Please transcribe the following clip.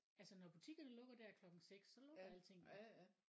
Altså når butikkerne lukker der klokken 6 så lukker alting